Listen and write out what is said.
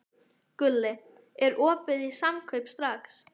Gulli, er opið í Samkaup Strax?